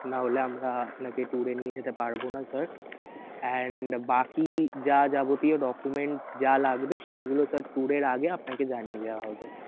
না হলে আমরা আপনাকে tour এ নিয়ে যেতে পারবনা sir and বাকি যা যাবতীয় documents যা লাগবে সেইগুলা sir tour এর আগে আপনাকে জানিয়ে দেয়া হবে.